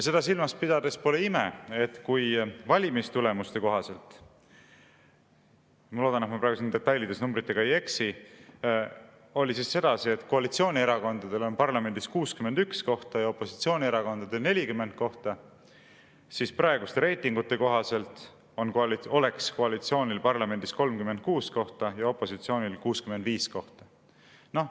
Seda silmas pidades pole ime, et kui valimistulemuste kohaselt – ma loodan, et ma praegu detailides numbritega ei eksi – oli sedasi, et koalitsioonierakondadel on parlamendis 61 kohta ja opositsioonierakondadel 40 kohta, siis praeguste reitingute kohaselt oleks koalitsioonil parlamendis 36 kohta ja opositsioonil 65 kohta.